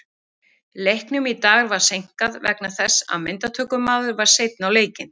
Leiknum í dag var seinkað vegna þess að myndatökumaður var seinn á leikinn.